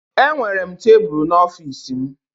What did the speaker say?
Enwere m tebụl n'ọfịs m